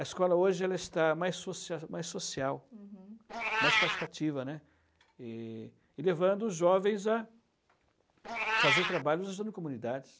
A escola ela hoje está mais social, mais social, uhum, mais participativa, né, e levando os jovens a fazer trabalho usando comunidades.